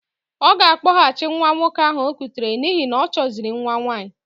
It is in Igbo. Ọ ga-akpọghachi nwa nwoke ahụ o kutere n'ihi na ọchọziri nwa nwaanyị.